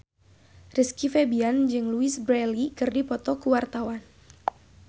Rizky Febian jeung Louise Brealey keur dipoto ku wartawan